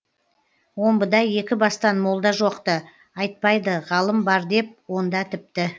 омбыда екі бастан молда жоқ ты айтпайды ғалым бар деп онда тіпті